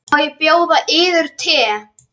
Má bjóða yður te?